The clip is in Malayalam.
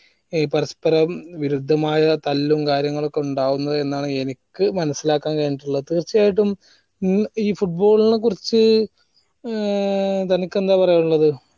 ഈ പരസ്പ്പര വിരുദ്ധമായ തല്ലും കാര്യങ്ങളും ഒക്കെ ഉണ്ടാവുന്നത് എന്നാണ് എനിക്ക് മനസിലാക്കാൻ കഴിഞ്ഞിട്ടിള്ളത് തീർച്ചയായിട്ടും ഏർ football ന കുറിച്ച് ഏർ തനിക്കെന്താ പറയാനിള്ളത്